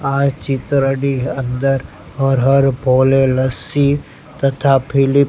આ ચિત્રની અંદર હર હર ભોલે લસ્સી તથા ફિલિપ --